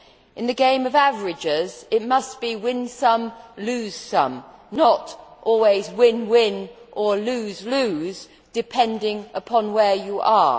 In the game of averages, it must be win some, lose some', not always win, win' or lose, lose', depending on where you are.